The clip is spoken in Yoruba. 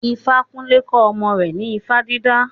Ifakunle kọ́ ọmọ rẹ̀ ní ifá dídá.